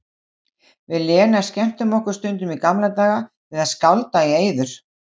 Við Lena skemmtum okkur stundum í gamla daga við að skálda í eyður.